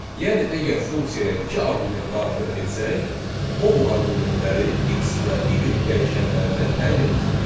Yəni əgər funksiyaya iki arqument daxil etsək, o bu arqumentləri x və y dəyişənlərinə təyin edəcək.